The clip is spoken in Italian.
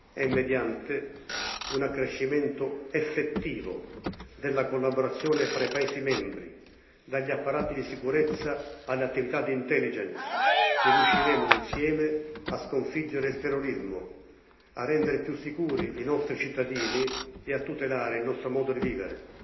È mediante un accrescimento effettivo della collaborazione fra gli Stati membri dagli apparati di sicurezza alle attività di intelligence che riusciremo, insieme, a sconfiggere il terrorismo, a rendere più sicuri i nostri cittadini e a tutelare il nostro modo di vivere.